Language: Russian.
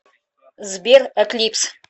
сбер эклипс